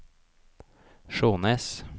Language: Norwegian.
Skjånes